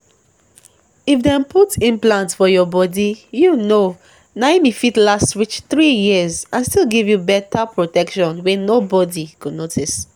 if dem put implant for your bodyyou know naum e fit last reach three years and still give you better protection wey nobody go notice.